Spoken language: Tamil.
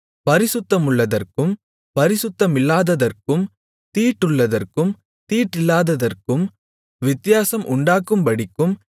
பரிசுத்தமுள்ளதற்கும் பரிசுத்தமில்லாததற்கும் தீட்டுள்ளதற்கும் தீட்டில்லாததற்கும் வித்தியாசம் உண்டாக்கும்படிக்கும்